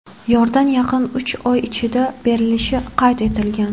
Yordan yaqin uch oy ichida berilishi qayd etilgan.